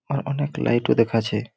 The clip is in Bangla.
আর অনেক লাইট -ও দেখাচ্ছে ।